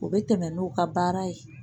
U bɛ tɛmɛ n'u ka baara ye